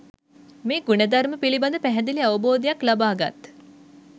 මේ ගුණධර්ම පිළිබඳ පැහැදිලි අවබෝධයක් ලබාගත්